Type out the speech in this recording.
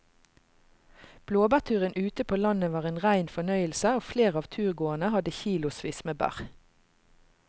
Blåbærturen ute på landet var en rein fornøyelse og flere av turgåerene hadde kilosvis med bær.